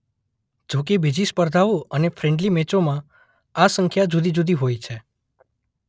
જોકે બીજી સ્પર્ધાઓ અને ફ્રેન્ડલી મેચોમાં આ સંખ્યા જુદીજુદી હોય છે.